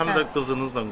Həm də qızınızla qonşudur?